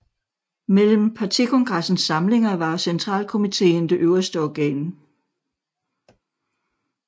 Mellem Partikongressens samlinger var centralkomiteen det øverste organ